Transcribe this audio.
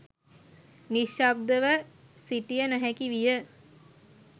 නිශ්ශබ්දව සිටිය නොහැකිවිය